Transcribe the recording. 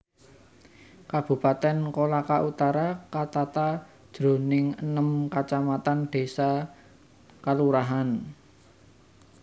Kabupatèn Kolaka Utara katata jroning enem kacamatan désa/kalurahan